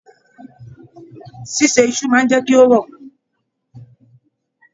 Ṣiṣe isu máa n jẹ kí o rọ̀.